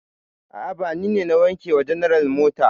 A'a, ba ni ne na wanke wa general mota.